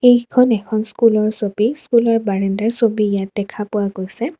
এইখন এখন স্কুলৰ ছবি স্কুলৰ বাৰাণ্ডাৰ ছবি ইয়াত দেখা পোৱা গৈছে।